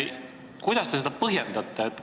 Kuidas te seda põhjendate?